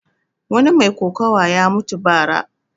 Wani mai kokuwa ya mutu ba ra